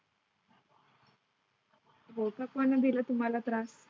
कोटक पणा दिला तुम्हाला त्रास.